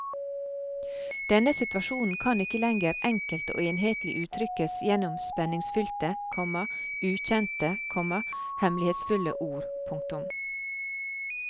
Denne situasjonen kan ikke lenger enkelt og enhetlig uttrykkes gjennom spenningsfylte, komma ukjente, komma hemmelighetsfulle ord. punktum